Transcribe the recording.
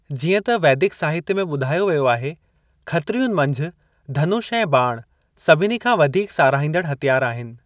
जीअं त वैदिक साहित्य में ॿुधायो वियो आहे, खत्रियुनि मंझि धनुष ऐं ॿाणु सभिनी खां वधीक साराहींदड़ु हथियार आहिनि।